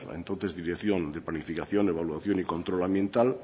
entonces dirección de planificación de evaluación y control ambiental